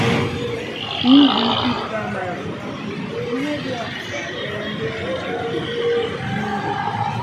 PDP Primaries: Ihedioha ga-azọrọ ndị PDP ọchịchị n'Imo